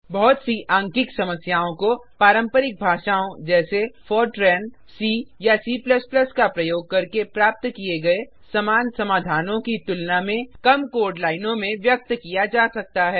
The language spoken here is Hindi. बहुत सी आंकिक समस्याओं को पारंपरिक भाषाओं जैसे फोर्ट्रान सी या C का प्रयोग करके प्राप्त किये गए समान समाधानों की तुलना में कम कोड लाइनों में व्यक्त किया जा सकता है